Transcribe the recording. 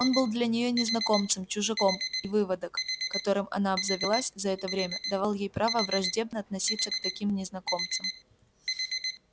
он был для нее незнакомцем чужаком и выводок которым она обзавелась за это время давал ей право враждебно относиться к таким незнакомцам